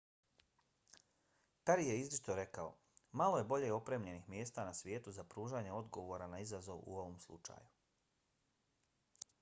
peri je izričito rekao: malo je bolje opremljenih mjesta na svijetu za pružanje odgovora na izazov u ovom slučaju.